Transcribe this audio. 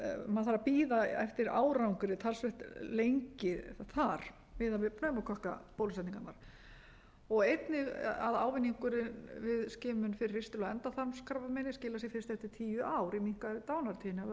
maður þarf að bíða eftir árangri talsvert lengi þar miðað við pneumókokkabólusetningarnar og einnig að ávinningurinn við skimun fyrir ristil og endaþarmskrabbameini skilar sér fyrst eftir tíu ár í minnkandi dánartíðni af völdum